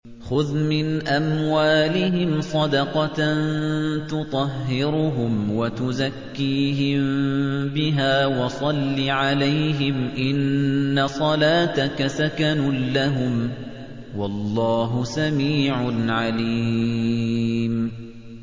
خُذْ مِنْ أَمْوَالِهِمْ صَدَقَةً تُطَهِّرُهُمْ وَتُزَكِّيهِم بِهَا وَصَلِّ عَلَيْهِمْ ۖ إِنَّ صَلَاتَكَ سَكَنٌ لَّهُمْ ۗ وَاللَّهُ سَمِيعٌ عَلِيمٌ